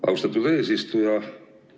Austatud eesistuja!